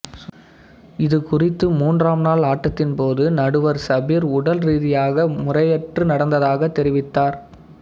இது குறித்து மூன்றாம் நாள் ஆட்டத்தின்போது நடுவர் சபிர் உடல்ரீதியாக முறையற்று நடந்ததாகத் தெரிவித்தார்